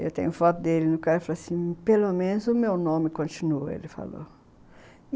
Eu tenho foto dele e o cara falou assim, pelo menos o meu nome continua, ele falou.